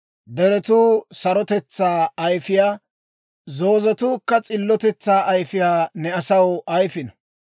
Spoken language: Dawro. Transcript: Deretuu sarotetsaa ayifiyaa, zoozetuukka s'illotetsaa ayifiyaa ne asaw ayifino.